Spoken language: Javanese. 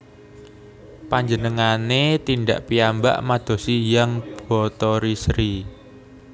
Panjenengane tindak piyambak madosi Hyang Bathari Sri